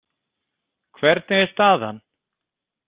Hvernig er staðan?